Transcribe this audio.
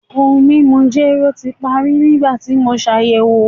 Ohun mimu jero ti pari nigbati mo ṣayẹwo